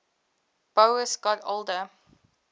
boas got older